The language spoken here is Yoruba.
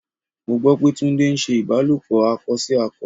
Mo gbọ́ pé Túndé ń ṣe ìbálòpọ̀ akọ sí akọ.